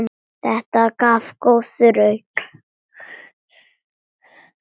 Þetta gaf góða raun.